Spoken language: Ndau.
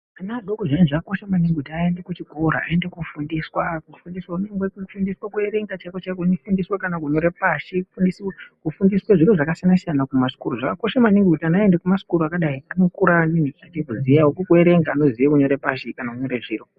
Ana adoko zviyani zvaka kosha maningi kuti ayende ku chikora ayende ko fundiswa ku fundiswa ku nyangwe ku fundiswa ku erenga chaiko chaiko neku fundiswa kana ku nyore pashi ku fundiswe zviro zvaka siyana siyana kuma zvikoro zvakakosha maningi kuti ana aende ku masikuri akadai uno kura achizo ziyawo ku erenga neku ziye ku nyore pashi neku nyore zviro.